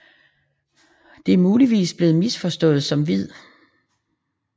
Det er muligvis blevet misforstået som hvid